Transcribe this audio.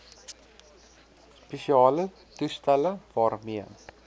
spesiale toestelle waarmee